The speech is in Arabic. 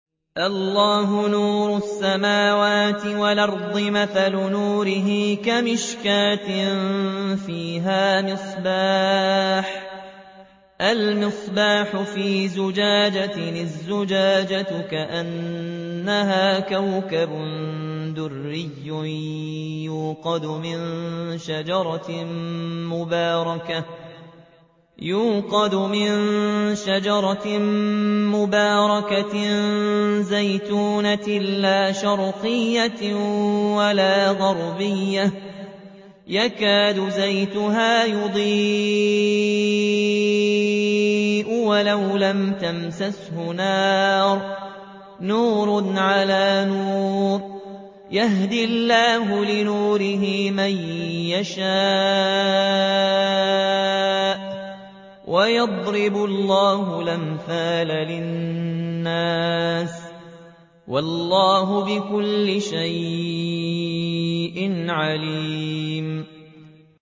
۞ اللَّهُ نُورُ السَّمَاوَاتِ وَالْأَرْضِ ۚ مَثَلُ نُورِهِ كَمِشْكَاةٍ فِيهَا مِصْبَاحٌ ۖ الْمِصْبَاحُ فِي زُجَاجَةٍ ۖ الزُّجَاجَةُ كَأَنَّهَا كَوْكَبٌ دُرِّيٌّ يُوقَدُ مِن شَجَرَةٍ مُّبَارَكَةٍ زَيْتُونَةٍ لَّا شَرْقِيَّةٍ وَلَا غَرْبِيَّةٍ يَكَادُ زَيْتُهَا يُضِيءُ وَلَوْ لَمْ تَمْسَسْهُ نَارٌ ۚ نُّورٌ عَلَىٰ نُورٍ ۗ يَهْدِي اللَّهُ لِنُورِهِ مَن يَشَاءُ ۚ وَيَضْرِبُ اللَّهُ الْأَمْثَالَ لِلنَّاسِ ۗ وَاللَّهُ بِكُلِّ شَيْءٍ عَلِيمٌ